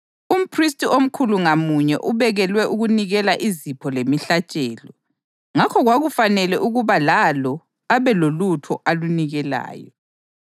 Umphristi omkhulu ngamunye ubekelwe ukunikela izipho lemihlatshelo, ngakho kwakufanele ukuba lalo abe lolutho alunikelayo.